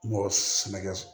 Mɔgɔ sɛnɛkɛ